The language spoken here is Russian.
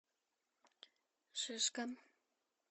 шишка